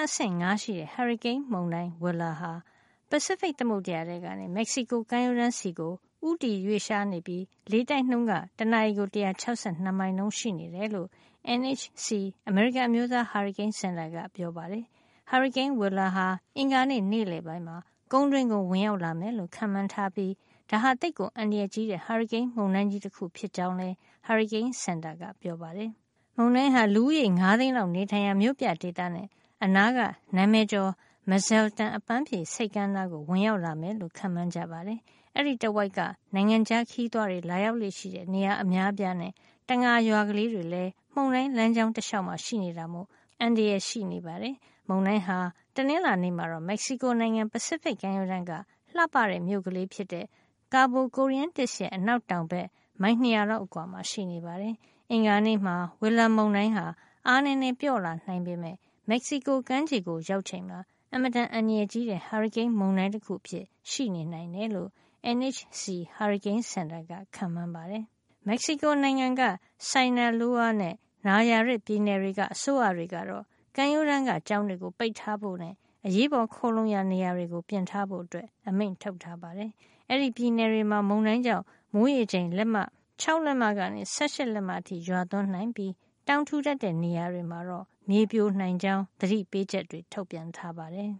အဆင့် ၅ ရှိတဲ့ ဟာရီကိန်းမုန်တိုင်း Willa ဟာ ပစိဖိတ် သမုဒ္ဒရာထဲကနေ မက်ဆီကိုကမ်းရိုးတန်းဆီ ဦးတည် ရွေ့လျားနေပြီး လေတိုက်နှုန်းက တနာရီကို ၁၆၂ မိုင်နှုန်း ရှိနေတယ်လို့ NHC အမေရိကန် အမျိုးသားဟာရီကိန်းစင်တာက ပြောပါတယ်။ ဟာရီကိန်း Willa ဟာ အင်္ဂါနေ့ နေ့လည်ပိုင်းမှာ ကုန်းတွင်းကို ဝင်ရောက်လာမယ်လို့ ခန့်မှန်းထားပြီး ဒါဟာ သိပ်ကို အန္တရာယ်ကြီးတဲ့ ဟာရီကိန်း မုန်တိုင်းကြီး တခုဖြစ်ကြောင်းလည်း ဟာရီကိန်းစင်တာ ကပြောပါတယ်။ မုန်တိုင်းဟာ လူဦးရေ ၅ သိန်းလောက် နေထိုင်ရာ မြို့ပြဒေသနဲ့ အနားက နာမည်ကျော် Mazatlan အပမ်းဖြေဆိပ်ကမ်း နားကို ဝင်ရောက်လာမယ်လို့ ခန့်မှန်းကြပါတယ်။ အဲဒီတဝိုက်က နိုင်ငံခြားခရီးသွားတွေ လာရောက်လေ့ရှိတဲ့ နေရာ အများအပြားနဲ့ တံငါရွာကလေး တွေလည်း မုန်တိုင်းလမ်းကြောင်းတလျှောက်မှာ ရှိနေတာမို့ မုန်တိုင်းသင့်နိုင်တဲ့ အန္တရာယ် ရှိနေပါတယ်။ မုန်တိုင်းဟာ တနင်္လာနေ့မှာတော့ မက်ဆီကိုနိုင်ငံ ပစိဖိတ်ကမ်းရိုးတန်က လှပတဲ့မြို့ကလေးဖြစ်တဲ့ Cabo Corrientes ရဲ့ အနောက်တောင် ဘက် မိုင် ၂၀၀ လောက်အကွာမှာ ရှိနေပါတယ်။ အင်္ဂါနေ့မှာ Willa မုန်တိုင်းက အားနည်းနည်း ပျော့လာနိုင်ပေမယ့် မက်ဆီကို ကမ်းခြေကို ရောက်ချိန်မှာ အင်မတန် အန္တရာယ်ကြီးတဲ့ ဟာရီကိန်း မုန်တိုင်း တခု အဖြစ်ရှိနေနိုင်တယ်လို့ NHC ဟာရီကိန်းစင်တာက ခန့်မှန်းပါတယ်။ မက်ဆီကိုနိုင်ငံက Sinaloa နဲ့ Nayarit ပြည်နယ်တွေက အစိုးရတွေကတော့ ကမ်းရိုးတန်းက ကျောင်းတွေကို ပိတ်ထားဖို့နဲ့ အရေးပေါ် ခိုလှုံရာနေရာတွေကို ပြင်ထားဖို့ အမိန့်ထုတ်ထားပါတယ်။ အဲဒီပြည်နယ်တွေမှာ မုန်တိုင်းကြောင့် မိုးရေချိန် ၆ လက်မကနေ ၁၈ လက်မအထိ ရွာသွန်းနိုင်ပြီး တောင်ထူထပ်တဲ့ နေရာတွေမှာ မြေပြိုနိုင်ကြောင်း သတိပေးချက်တွေ ထုတ်ပြန်ထားပါတယ်